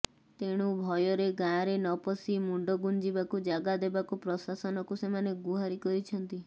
ତେଣୁ ଭୟରେ ଗାଁରେ ନପଶି ମୁଣ୍ଡ ଗୁଞ୍ଜିବାକୁ ଜାଗା ଦେବାକୁ ପ୍ରଶାସନକୁ ସେମାନେ ଗୁହାରି କରିଛନ୍ତି